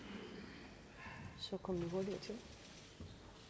rækken